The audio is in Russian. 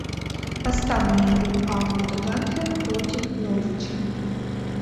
поставь мне игру апл тоттенхэм против норвича